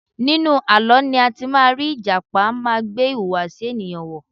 Nínú àlọ́ láti má rí Ìjàpá má gbé ìhùwàsí ènìyàn wọ̀.